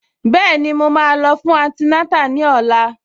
Bẹ́ẹ̀ni, màá lọ fún antinátà ní ọ̀la